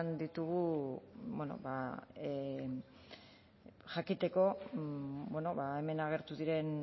ditugu bueno jakiteko bueno hemen agertu diren